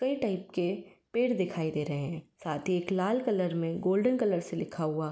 कई टाइप के पेड़ दिखाई दे रहे है साथ ही एक लाल कलर में गोल्डन कलर से लिखा हुआ --